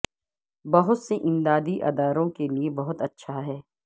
بہت سے امدادی اداروں کے لئے بہت اچھا ہے